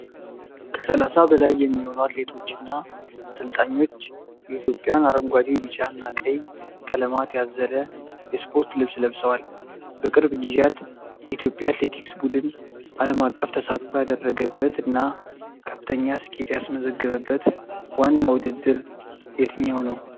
ከ30 በላይ የሚሆኑ አትሌቶች እና አሰልጣኞች የኢትዮጵያን አረንጓዴ፣ ቢጫ እና ቀይ ቀለማት ያዘለ የስፖርት ልብስ ለብሰዋል። በቅርብ ጊዜያት የኢትዮጵያ አትሌቲክስ ቡድን አለም አቀፍ ተሳትፎ ያደረገበት እና ከፍተኛ ስኬት ያስመዘገበበት ዋና ውድድር የትኛው ነው?